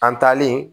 An taalen